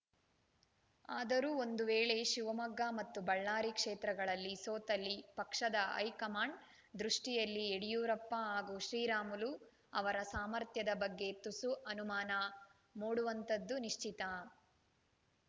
ಆದರೂ ಒಂದು ವೇಳೆ ಶಿವಮೊಗ್ಗ ಮತ್ತು ಬಳ್ಳಾರಿ ಕ್ಷೇತ್ರಗಳಲ್ಲಿ ಸೋತಲ್ಲಿ ಪಕ್ಷದ ಹೈಕಮಾಂಡ್‌ ದೃಷ್ಟಿಯಲ್ಲಿ ಯಡಿಯೂರಪ್ಪ ಹಾಗೂ ಶ್ರೀರಾಮುಲು ಅವರ ಸಾಮರ್ಥ್ಯದ ಬಗ್ಗೆ ತುಸು ಅನುಮಾನ ಮೂಡುವುದಂತೂ ನಿಶ್ಚಿತ